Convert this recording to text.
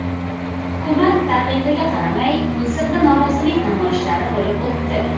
Hukumat taqiqiga qaramay, Misrda norozilik namoyishlari bo‘lib o‘tdi.